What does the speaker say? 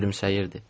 Gülümsəyirdi.